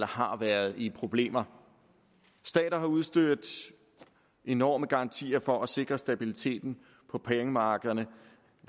har været i problemer stater har udstedt enorme garantier for at sikre stabiliteten på pengemarkederne